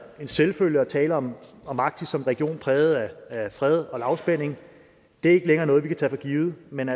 en selvfølge at tale om om arktis som en region præget af fred og lavspænding det er ikke længere noget vi kan tage for givet men